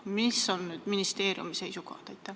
Milline on nüüd ministeeriumi seisukoht?